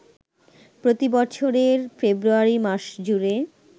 প্রতি বছরের ফেব্রুয়ারি মাসজুড়ে